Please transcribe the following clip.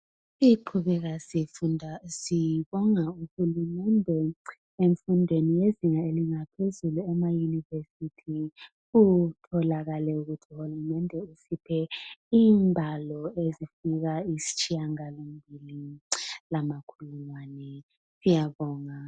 Siqhubeka sifunda sibonga UHulumende ezifundweni zezinga laphezulu amayunivesithi. Kutholakale ukuthi UHulumende usiphe ingwalo ezifika isitshiyagalo mbili lamakhu mane, siyabonga.